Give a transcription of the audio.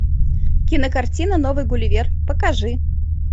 кинокартина новый гулливер покажи